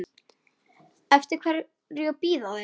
Eftir hverju bíða þeir?